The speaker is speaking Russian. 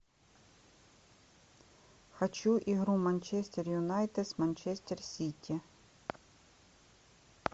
хочу игру манчестер юнайтед с манчестер сити